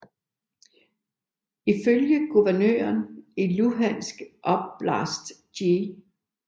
Ifølge guvernøren i Luhansk oblast G